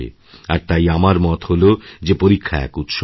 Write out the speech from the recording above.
আর তাই আমার মত হল যে পরীক্ষা এক উৎসব